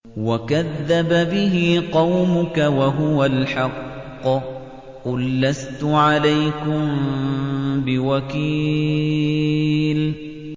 وَكَذَّبَ بِهِ قَوْمُكَ وَهُوَ الْحَقُّ ۚ قُل لَّسْتُ عَلَيْكُم بِوَكِيلٍ